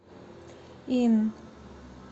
инн